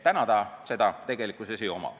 Täna sellel seda tegelikkuses ei ole.